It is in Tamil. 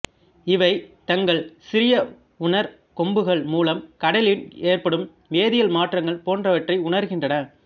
இவை தங்கள் சிறிய உணர் கொம்புகள் மூலம் கடலின் ஏற்படும் வேதியல் மாற்றங்கள் போன்றவற்றை உணர்கின்றன